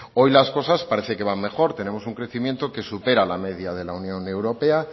hoy las cosas parecen que van mejor tenemos un crecimiento que supera la media de la unión europea